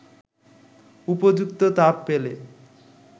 উপযুক্ত তাপ পেলে